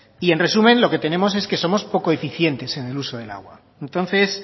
y en resumen lo que tenemos es que somos poco eficientes en el uso del agua y entonces